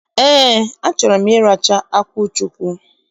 Ee, achọrọ m ịracha akwụ chukwu.